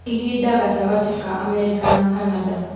ihinda gatagatĩ ka Amerika na Canada